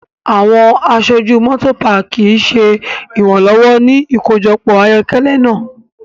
Awọn aṣoju Motopaaki ṣe iranlọwọ ni ikojọpọ ayokele naa